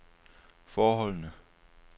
forholdene